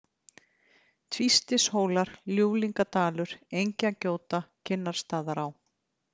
Tvístishólar, Ljúflingadalur, Engjagjóta, Kinnarstaðaá